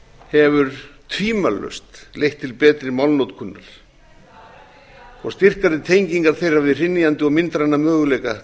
hefur tvímælalaust leitt til betri málnotkunar og styrkari tengingar þeirra við hrynjandi og myndræna möguleika